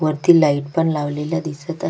वरती लाइट पण लावलेला दिसत आ--